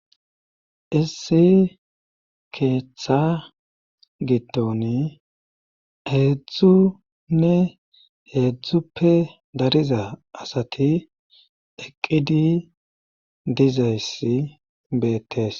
Issi keeththa gitton heedzdzunne heedzdzuppe dariza asati eqqidi dizayssi beettes.